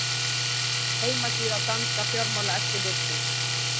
Heimasíða danska fjármálaeftirlitsins